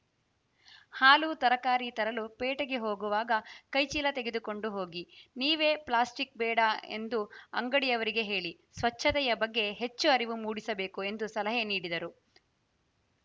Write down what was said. ಹಾಲು ತರಕಾರಿ ತರಲು ಪೇಟೆಗೆ ಹೋಗುವಾಗ ಕೈಚೀಲ ತೆಗೆದುಕೊಂಡು ಹೋಗಿ ನೀವೇ ಪ್ಲಾಸ್ಟಿಕ್‌ ಬೇಡ ಎಂದು ಅಂಗಡಿಯವರಿಗೆ ಹೇಳಿ ಸ್ವಚ್ಚತೆಯ ಬಗ್ಗೆ ಹೆಚ್ಚು ಅರಿವು ಮೂಡಿಸಬೇಕು ಎಂದು ಸಲಹೆ ನೀಡಿದರು